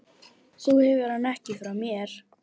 Þú hefur hann ekki frá mér.